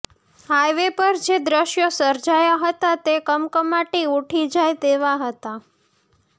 highway પર જે દ્રશ્યો સર્જાયા હતા તે કમકમાટી ઉઠી જાય તેવા હતા